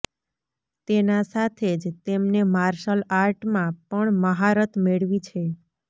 તેના સાથે જ તેમને માર્શલ આર્ટ માં પણ મહારત મેળવી છે